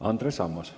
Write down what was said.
Andres Ammas.